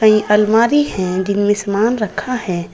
नई अलमारी है जिसमें समान रखा है।